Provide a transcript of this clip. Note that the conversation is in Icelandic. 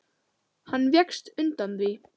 Hann vékst undan því.